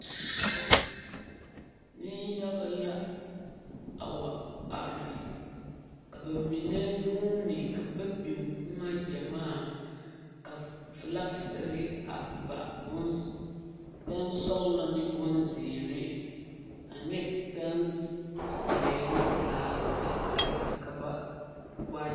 Neŋ yaga la a wa are ka ba mine vuuni ka ba biŋ boma gyamaa ka filakisiri a ba boŋ sɔglɔ ne boŋ zeere ane pɛne zeɛ pelaa a are kyɛ ka ba wa.